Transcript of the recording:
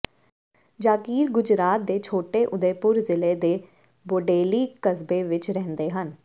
ਜਾਕੀਰ ਗੁਜਰਾਤ ਦੇ ਛੋਟੇ ਉਦੇਪੁਰ ਜਿਲ੍ਹੇ ਦੇ ਬੋਡੇਲੀ ਕਸਬੇ ਵਿੱਚ ਰਹਿੰਦੇ ਹਨ